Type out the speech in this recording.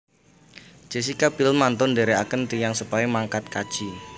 Jessica Biel mantun ndherekaken tiyang sepahe mangkat kaji